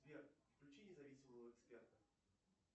сбер включи независимого эксперта